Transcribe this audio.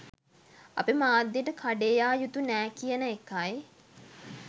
අපි මාධ්‍යයට කඩේ යා යුතු නෑ කියන එකයි.